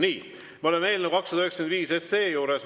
Nii, me oleme eelnõu 295 juures.